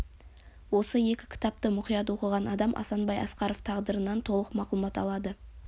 осы екі кітапты мұқият оқыған адам асанбай асқаров тағдырынан толық мағлұмат алады